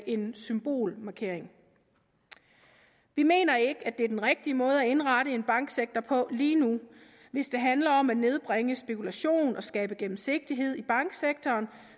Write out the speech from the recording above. en symbolmarkering vi mener ikke at det er den rigtige måde at indrette en banksektor på lige nu hvis det handler om at nedbringe spekulation og skabe gennemsigtighed i banksektoren